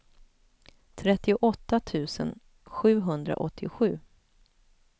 trettioåtta tusen sjuhundraåttiosju